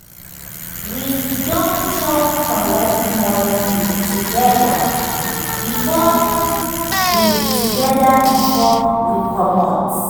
we siddon chop correct morning food together before we together before we comot.